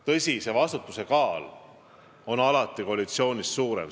Tõsi, vastutuse kaal on alati koalitsioonis suurem.